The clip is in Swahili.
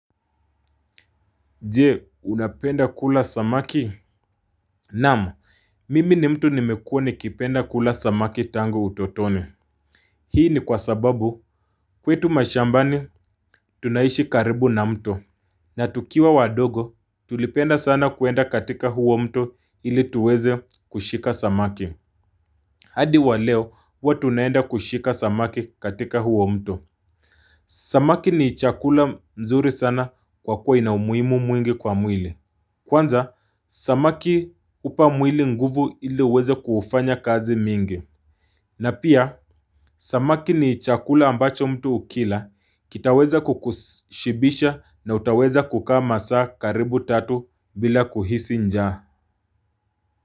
Je, unapenda kula samaki? Naam. Mimi ni mtu nimekuwa nikipenda kula samaki tango utotoni. Hii ni kwa sababu kwetu mashambani tunaishi karibu na mto. Na tukiwa wadogo tulipenda sana kuenda katika huo mto ili tuweze kushika samaki. Hadi wa leo huwa tunaenda kushika samaki katika huo mto. Samaki ni chakula mzuri sana kwa kuwa ina umuhimu mwingi kwa mwili. Kwanza, samaki hupa mwili nguvu ili uweze kuufanya kazi mingi. Na pia, samaki ni chakula ambacho mtu ukila, kitaweza kukushibisha na utaweza kukaa masaa karibu tatu bila kuhisi njaa.